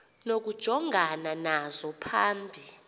nokujongana nazo phambi